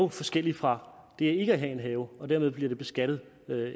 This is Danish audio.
forskelligt fra det ikke at have en have og dermed bliver det beskattet